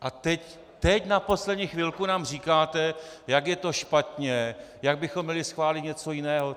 A teď na poslední chvilku nám říkáte, jak je to špatně, jak bychom měli schválit něco jiného.